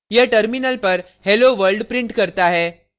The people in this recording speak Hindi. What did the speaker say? यह terminal पर hello world prints करता है